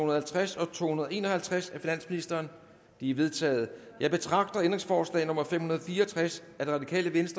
og halvtreds og to hundrede og en og halvtreds af finansministeren de er vedtaget jeg betragter ændringsforslag nummer fem hundrede og fire og tres